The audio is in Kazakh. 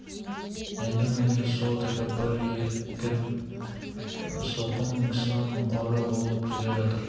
енді міне сол тәкаппар еркін сылқым кісінің қоры болып келе жатыр